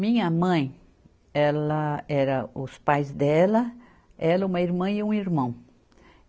Minha mãe, ela era os pais dela, ela, uma irmã e um irmão.